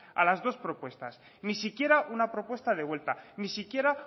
a las dos propuestas ni siquiera una propuesta de vuelta ni siquiera